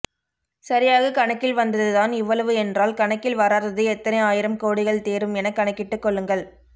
சரியாக கணக்கில் வந்தது தான் இவ்வளவு என்றால் கணக்கில் வராதது எத்தனை ஆயிரம் கோடிகள் தேறும் என கணக்கிட்டுக் கொள்ளுங்கள்